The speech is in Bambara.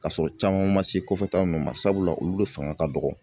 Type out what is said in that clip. Ka sɔrɔ caman ma se kɔfɛ ta ma sabula olu de fanga ka dɔgɔ